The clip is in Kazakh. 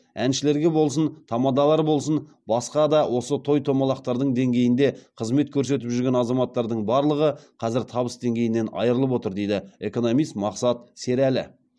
әншілерге болсын тамадалар болсын басқа да осы той томалақтардың деңгейінде қызмет көрсетіп жүрген азаматтардың барлығы қазір табыс деңгейінен айрылып отыр дейді экономист мақсат серәлі